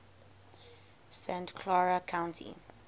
santa clara county